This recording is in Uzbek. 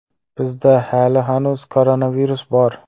Bizda hali hanuz koronavirus bor.